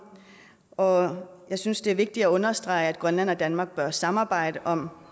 og jeg synes det er vigtigt at understrege at grønland og danmark bør samarbejde om